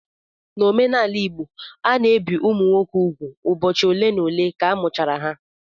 N'omenala Igbo, a na-ebi ụmụ nwoke úgwù ụbọchị ole n'ole ka a mụchara ha